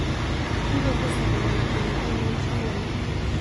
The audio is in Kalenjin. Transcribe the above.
Kipetee sopenyin kenyit ainon Chelele